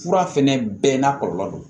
Fura fɛnɛ bɛɛ n'a kɔlɔlɔ don